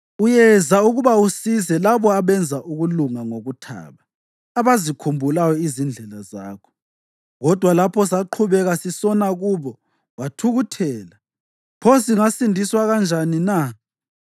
Uyeza ukuba usize labo abenza ukulunga ngokuthaba, abazikhumbulayo izindlela zakho. Kodwa lapho saqhubeka sisona kubo wathukuthela. Pho singasindiswa kanjani na?